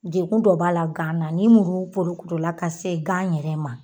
Degun dɔ b'a la gan na ni muru porokoto la ka se gan yɛrɛ ma